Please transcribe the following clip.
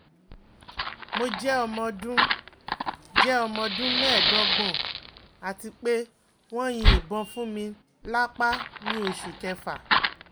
Mo jẹ omoọdun jẹ omoọdun meedogbon ati pe won yin ibon funmi lapa ni Oṣu kefa